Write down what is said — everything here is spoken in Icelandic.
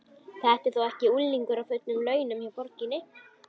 Þetta er þó ekki unglingur á fullum launum hjá borginni?